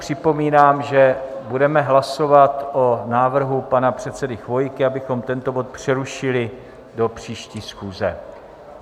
Připomínám, že budeme hlasovat o návrhu pana předsedy Chvojky, abychom tento bod přerušili do příští schůze.